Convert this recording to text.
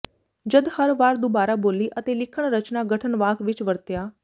ਜਦ ਹਰ ਵਾਰ ਦੁਬਾਰਾ ਬੋਲੀ ਅਤੇ ਲਿਖਣ ਰਚਨਾ ਗਠਨ ਵਾਕ ਵਿੱਚ ਵਰਤਿਆ